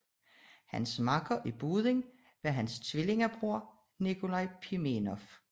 Hans makker i båden var hans tvillingebror Nikolaj Pimenov